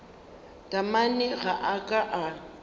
taamane ga a ka a